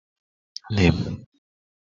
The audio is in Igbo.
#NAME?